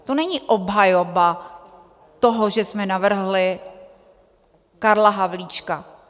To není obhajoba toho, že jsme navrhli Karla Havlíčka.